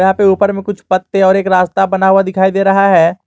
पे ऊपर में कुछ पत्ते और एक रास्ता बना हुआ दिखाई दे रहा है।